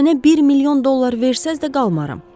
Mənə bir milyon dollar versəniz də qalmaram.